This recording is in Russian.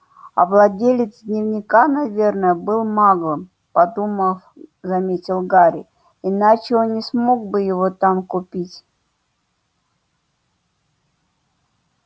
а владелец дневника наверное был маглом подумав заметил гарри иначе он не смог бы его там купить